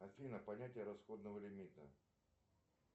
афина понятие расходного лимита